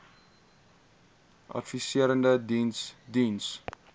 adviserende diens diens